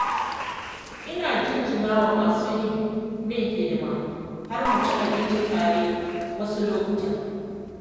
Ina jinjina wa masu yi min hidima har mu ci abinci tare wasu lokutan.